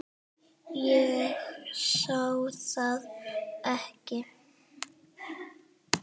Ég sá hann ekki.